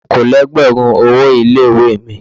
Okòó lé lẹ́gbẹ̀rún owó ilé ìwé mi.